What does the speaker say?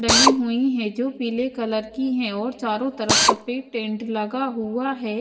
डली हुई है जो पीले कलर की है और चारों तरफ सफेद टेंट लगा हुआ है।